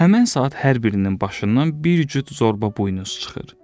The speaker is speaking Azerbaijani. Həmin saat hər birinin başından bir cüt zorba buynuz çıxır.